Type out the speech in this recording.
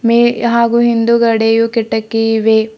ವೆ ಹಾಗೂ ಹಿಂದುಗಡೆಯು ಕಿಟಕಿ ಇವೆ.